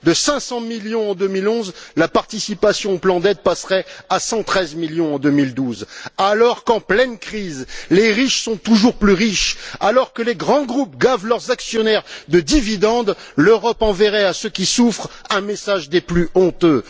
De 500 millions en 2011, la participation au plan d'aide passerait à 113 millions en 2012, alors qu'en pleine crise, les riches sont toujours plus riches, alors que les grands groupes gavent leurs actionnaires de dividendes, l'Europe enverrait à ceux qui souffrent un message des plus honteux.